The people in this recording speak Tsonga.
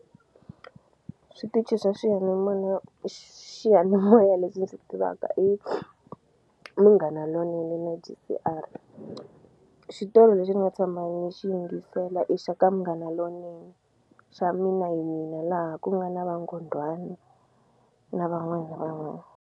Switichi swa swiyanimoya xiyanimoya lexi ndzi tivaka i Munghana Lonene na J_C_R xitori lexi ni nga tshama ni xi yingisela i xa ka Munghana Lonene xa Mina hi Mina laha ku nga na va Nghondwani na van'wani na van'wani.